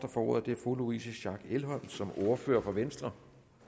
får ordet er fru louise schack elholm som ordfører for venstre